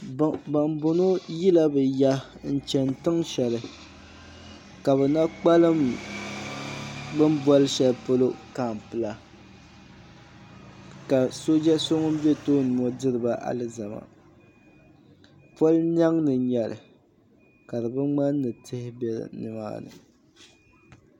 Ban boŋɔ yila bɛ ya n chena tiŋsheli ka bɛ na kpalim bini boli shelipolo kampu la ka sooja so ŋun be tooni ŋɔ diriba alizama polo niɛm ni n nyɛli ka di bi ŋmani ni tihi be nimaani.